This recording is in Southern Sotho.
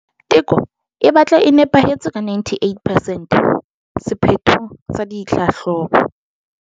Teko e batla e nepahetse ka 98 percent sephethong sa ditlhahlobo.